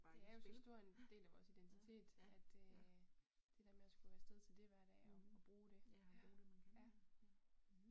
Det er jo så stor en del af vores identitet at øh det der med at skulle afsted til det hver dag og og bruge det ja